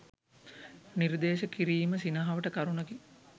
නිර්දේශ කිරීම සිනහවට කරුණකි